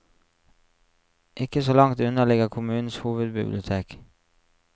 Ikke så langt unna ligger kommunens hovedbibliotek.